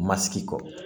Ma sigi kɔ